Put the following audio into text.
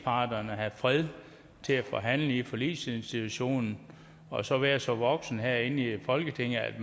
have fred til at forhandle i forligsinstitutionen og så være så voksne herinde i folketinget at